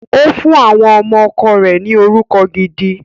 Ó fún àwọn ọmọ ọkọ rẹ̀ ni orúkọ gidi.